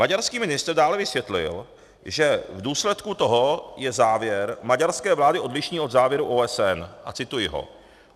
Maďarský ministr dále vysvětlil, že v důsledku toho je závěr maďarské vlády odlišný od závěru OSN, a cituji ho.